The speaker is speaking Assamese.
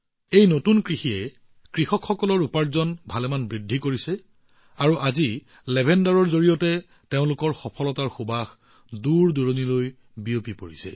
এই নতুন খেতিৰ ফলত কৃষকসকলৰ উপাৰ্জন যথেষ্ট বৃদ্ধি পাইছে আৰু আজি লেভেণ্ডাৰৰ সৈতে তেওঁলোকৰ সফলতাৰ সুবাস দূৰদূৰণিলৈ বিয়পি পৰিছে